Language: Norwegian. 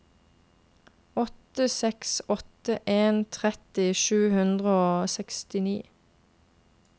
åtte seks åtte en tretti sju hundre og sekstini